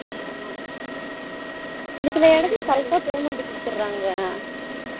ஹம் சின்ன சின்ன எடத்துல correct payment குடுத்துராங்க